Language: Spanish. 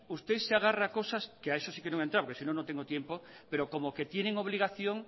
usted se agarra a cosas que a eso sí que no voy a entrar porque si no no tengo tiempo pero como que tienen obligación